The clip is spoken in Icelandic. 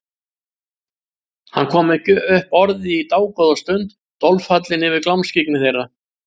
Hann kom ekki upp orði í dágóða stund, dolfallinn yfir glámskyggni þeirra.